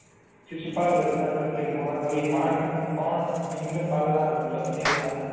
શિશુપાલ વર્તના subject મહાકવિ માખ ટન ખીન પાલ ના પત્ની હતા.